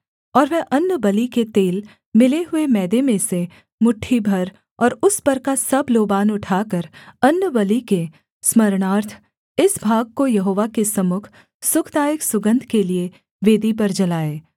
और वह अन्नबलि के तेल मिले हुए मैदे में से मुट्ठी भर और उस पर का सब लोबान उठाकर अन्नबलि के स्मरणार्थ इस भाग को यहोवा के सम्मुख सुखदायक सुगन्ध के लिये वेदी पर जलाए